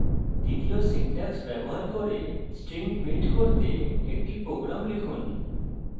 দ্বিতীয় syntax ব্যবহার করে string print করতে একটি program লিখুন